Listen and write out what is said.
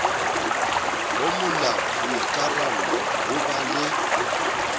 bomolao boikarallo ho ba le